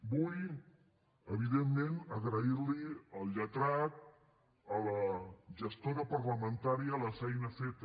vull evidentment agrair li al lletrat i a la gestora parlamentària la feina feta